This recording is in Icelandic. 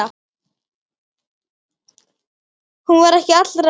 Hún var ekki allra.